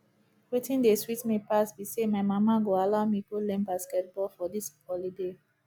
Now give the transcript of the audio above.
wetin dey sweet me pass be say my mama go allow me go learn basket ball for dis holiday